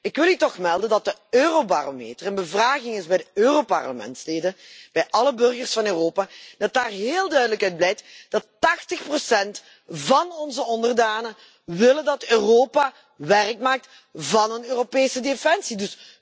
Ik wil u toch zeggen dat de eurobarometer een bevraging is bij de Europarlementsleden, bij alle burgers van Europa, en dat daar heel duidelijk uit blijkt dat 80 procent van onze onderdanen willen dat Europa werk maakt van een Europese defensie.